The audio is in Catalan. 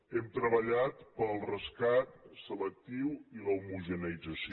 hem treballat pel rescat selectiu i l’homogeneïtzació